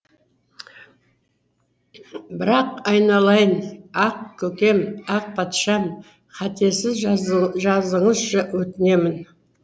бірақ айналайын ақ көкем ақ патшам қатесіз жазыңызшы өтінемін